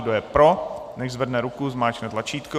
Kdo je pro, nechť zvedne ruku, zmáčkne tlačítko.